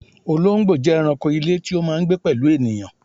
Olóńgbò jẹ́ ẹranko ilé tí ó máà ń gbé pẹ̀lú ènìyàn